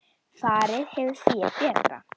Farið hefur fé betra.